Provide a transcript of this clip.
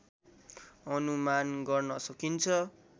अनुमान गर्न सकिन्छ